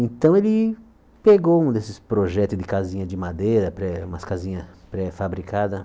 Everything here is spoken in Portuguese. Então ele pegou um desses projetos de casinha de madeira, pré umas casinhas pré-fabricada,